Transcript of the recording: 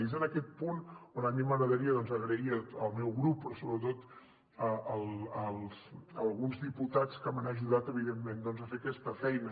i és en aquest punt on a mi m’agradaria donar les gràcies al meu grup però sobretot a alguns diputats que m’han ajudat evidentment a fer aquesta feina